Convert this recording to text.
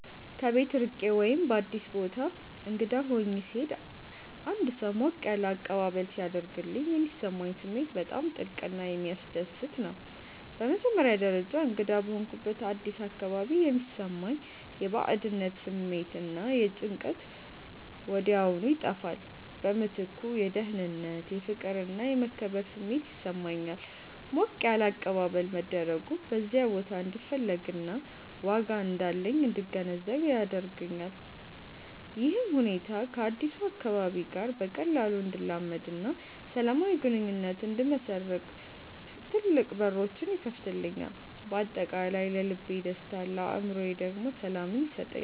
ከቤት ርቄ ወይም በአዲስ ቦታ እንግዳ ሆኜ ስሄድ አንድ ሰው ሞቅ ያለ አቀባበል ሲያደርግልኝ የሚሰማኝ ስሜት በጣም ጥልቅና የሚያስደስት ነው። በመጀመሪያ ደረጃ፣ እንግዳ በሆንኩበት አዲስ አካባቢ የሚሰማኝ የባዕድነት ስሜት እና ጭንቀት ወዲያውኑ ይጠፋል። በምትኩ የደህንነት፣ የፍቅር እና የመከበር ስሜት ይሰማኛል። ሞቅ ያለ አቀባበል መደረጉ በዚያ ቦታ እንድፈለግና ዋጋ እንዳለኝ እንድገነዘብ ያደርገኛል። ይህም ሁኔታ ከአዲሱ አካባቢ ጋር በቀላሉ እንድላመድና ሰላማዊ ግንኙነት እንድመሰርት ትልቅ በሮች ይከፍትልኛል። በአጠቃላይ ለልቤ ደስታን ለአእምሮዬ ደግሞ ሰላምን ይሰጠኛል።